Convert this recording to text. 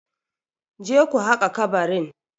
Je ku haƙa kabarin?